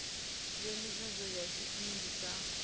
ya nisedzo ya dzinnu dza